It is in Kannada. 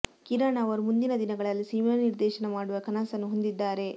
ಕಿರಣ್ ಅವರು ಮುಂದಿನ ದಿನಗಳಲ್ಲಿ ಸಿನಿಮಾ ನಿರ್ದೇಶನ ಮಾಡುವ ಕನಸನ್ನು ಹೊಂದಿದ್ದಾರೆ